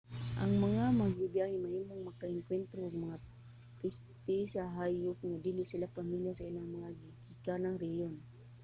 ang mga magbibyahe mahimong maka-engkuwentro og mga peste sa hayop nga dili sila pamilya sa ilang mga gigikanang rehiyon